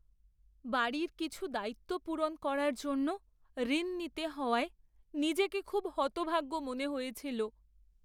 বাড়ির কিছু দায়িত্ব পূরণ করার জন্য ঋণ নিতে হওয়ায় নিজেকে খুব হতভাগ্য মনে হয়েছিল।